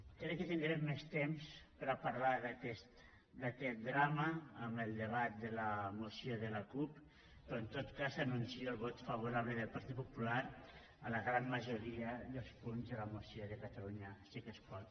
crec que tindrem més temps per a parlar d’aquest drama en el debat de la moció de la cup però en tot cas anuncio el vot favorable del partit popular a la gran majoria dels punts de la moció de catalunya sí que es pot